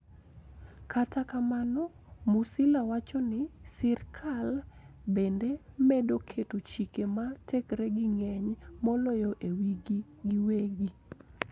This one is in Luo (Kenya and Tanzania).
Kata kamano, Musila wacho ni, sirkal bende medo keto chike ma tekregi ng'eny moloyo e wigi giwegi